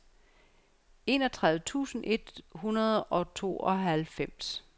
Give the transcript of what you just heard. enogtredive tusind et hundrede og tooghalvfems